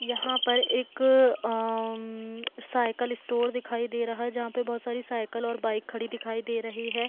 यहाँ पर एक अअ अंमम साइकिल स्टोर दिखाई दे रहा है जहाँ पे बहुत सारे साइकिल और बाइक खड़ी दिखाई दे रहे है।